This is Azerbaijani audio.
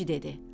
Kişi dedi: